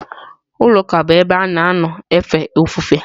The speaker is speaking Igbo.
Ụlọ ụka bụ ebe a na-anọ efe ofufe.